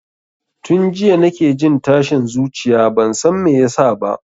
Tun jiya nake jin tashin zuciya bansan me yasa ba